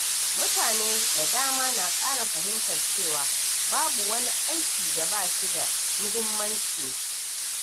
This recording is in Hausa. Mutane da dama na ƙara fahimtar cewa babu wani aiki da ba shi da muhimmanci.